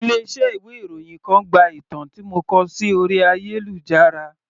Ilé iṣẹ́ ìwé ìròyìn kan gba ìtàn tí mo kọ sí orí ayélujára.